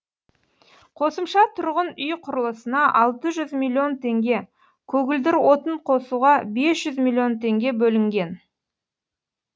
қосымша тұрғын үй құрылысына алты жүз миллион теңге көгілдір отын қосуға бес жүз миллион теңге бөлінген